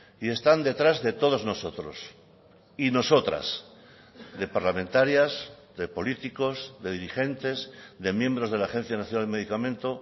y están detrás de todos nosotros y nosotras de parlamentarias de políticos de dirigentes de miembros de la agencia nacional del medicamento